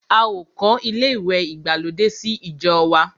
A ò kọ́ ilé ìwẹ̀ ìgbàlódé sí ìjọ wa.